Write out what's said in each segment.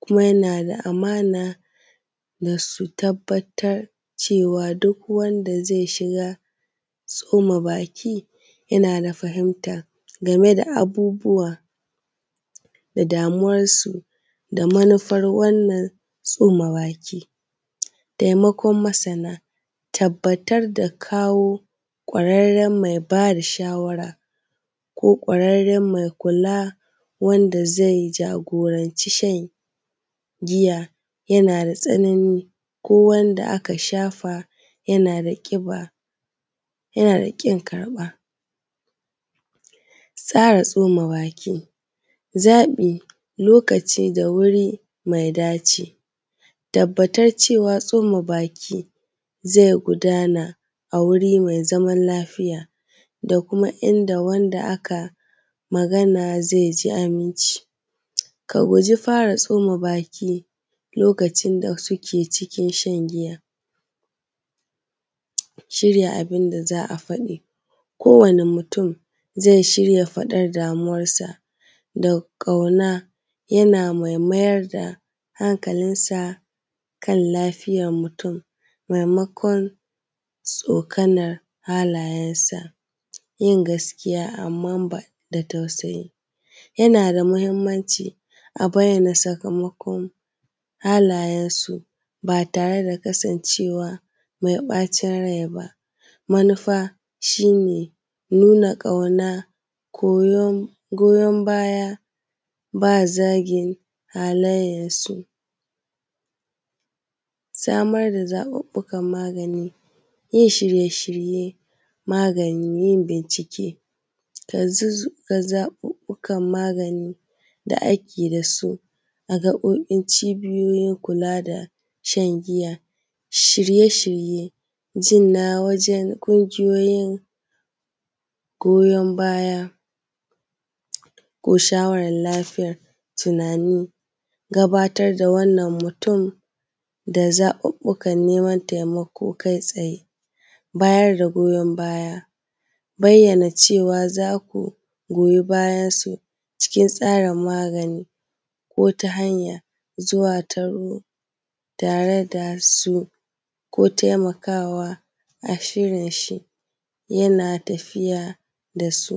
kuma yana da amana da su. Tabbatar da cewa duk wanda zai shiga tsoma baki yana da fahimtar game da abubuwa da damuwarsu da manufan wannan tsombaki, taimakon masana, tabbatar da kawo kwararran mai ba da shawara ko kwararren mai kula wanda zai jagoranci shan giya, yana da tsanani ko wanda aka shafa yana da ƙiba, yana da ƙin karɓarsa. Tsomabaki, zaɓi lokaci da wuri mai dacewa, tabbatar cewa tsomabaki zai gudana a wurin mai zaman lafiya da kuma inda wanda akai magana zai ji amince, ka guji bara tsomabaki lokacin da suke cikin shan giya, shirya abun da za a fadi ko wani mutum zai shirya faɗar damuwarsa da ƙauna, yana mai mayar da hankalinsa kan lafiyar mutum maimakon tsokanan halayensa, yin gaskiya amman da tausayi yana da mahimmanci a bayyana sakamakon halayensu ba tare da kasancewa mai ɓacin rai ba. Manufa shi ne nuna ƙauna, goyan baya ba zagin halayyarsu ba, samar da zaɓuɓɓukan magani, yin shirye-shirye, magani, yin bincike ka zaɓuɓɓukan magani da ake da su a gaɓoɓin cibiyoyin kula da shan giya. Shirye-shirye ji na wajen ƙungiyoyin goyan baya ko shawarar neman taimako kai tsaye, bayar da goyan ba ya bayyana cewa za ku goyi bayansu cikin tsarin magani ko ta hanyar zuwa da su ko taimakawa, a shirin shi yana tafiya da su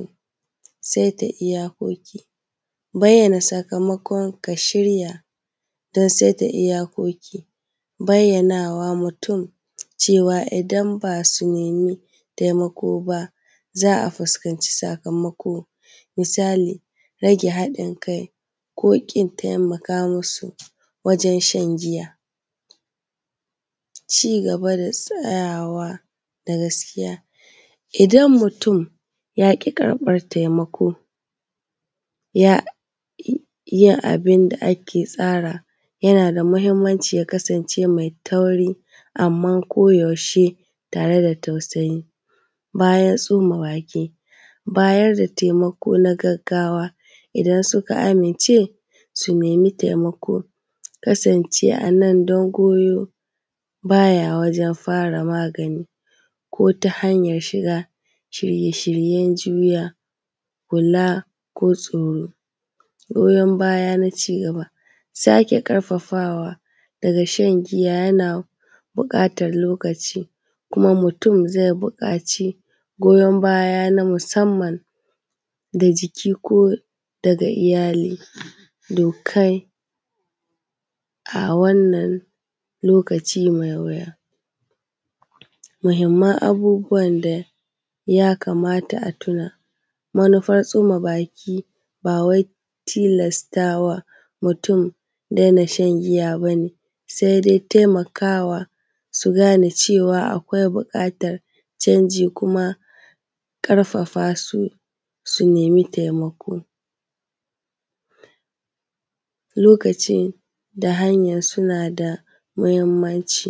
sai dai iyakoki bayyana sakamakon ka shirya dan tsai da iyakoki, bayyanawa mutum cewa idan ba su nemi taimako ba za a fuskanci sakamako, misali rage haɗin kai ko ƙin taimaka musu wajen shan giya, cigaba da tsayawa da gaskiya idan mutum ya ƙi karɓar taimako ya abin da ake tsarawa yana da mahimmanci ya kasance mai tsauri amma koyaushe tare da tausayi bayan tsoma baki, bayar da taimako na gaggawa idan suka amince su nemi taimako, ku kasance a nan dan goyo baya wajan fara magani ko ta hanyar shiga shirye-shiryan juya kula ko tsoro. Goyan bayan na cigaba, sake ƙarfafa wa daga shan giya yana buƙatan lokaci kuma mutum zai buƙaci goyan baya na musamman da jiki ko daga iyali dukkan a wannan lokaci mai wuya. Mahimman abubuwan da ya kamata a tuna manufar tsuma baki ba wai tilastawa mutum dai na shna giya ba ne sai dai taiamakawa su gane cewa akwai buƙatar canji da kuma ƙarfafa su, su nemi taimako lokacin da hanyan suna da mahimmanci.